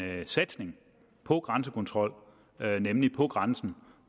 satsning på grænsekontrol nemlig på grænsen